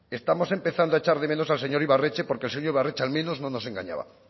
estamos empezando a echar de menos al señor ibarretxe porque el señor ibarretxe al menos no nos engañaba